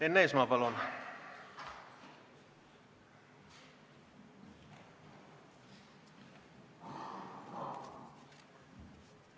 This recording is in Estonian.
Enn Eesmaa, palun!